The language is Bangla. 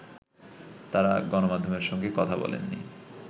তারা গণমাধ্যমের সঙ্গে কথা বলেননি